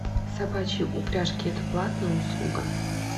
собачьи упряжки это платная услуга